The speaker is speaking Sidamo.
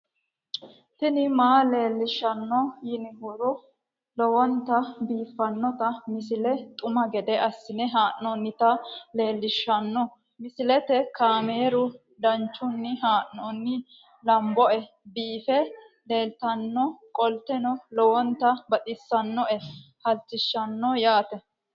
tini maa leelishshanno yaannohura lowonta biiffanota misile xuma gede assine haa'noonnita leellishshanno misileeti kaameru danchunni haa'noonni lamboe biiffe leeeltannoqolten lowonta baxissannoe halchishshanno yaate